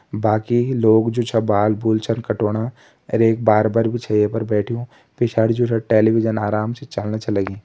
बाकी लोग जो छ बाल-बुल छन कटोना अर एक बार्बर भी छ ये पर बैठ्यूं पिछाड़ी जु छ टेलिविजन आराम से चलन छ लग्यूं।